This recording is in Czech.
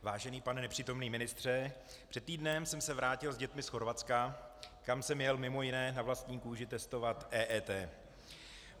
Vážený pane nepřítomný ministře, před týdnem jsem se vrátil s dětmi z Chorvatska, kam jsem jel mimo jiné na vlastní kůži testovat EET.